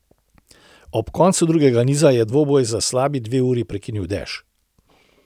Ob koncu drugega niza je dvoboj za slabi dve uri prekinil dež.